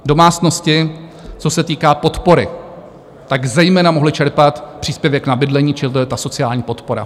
Domácnosti, co se týká podpory, tak zejména mohly čerpat příspěvek na bydlení, čili to je ta sociální podpora.